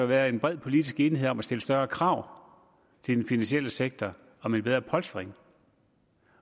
været en bred politisk enighed om at stille større krav til den finansielle sektor om en bedre polstring